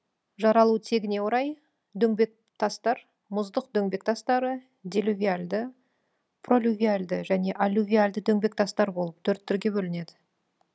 жаралу тегіне орай дөңбектастар мұздық дөңбектастары делювиальды пролювиальды және аллювиальды дөңбектастар болып төрт түрге бөлінеді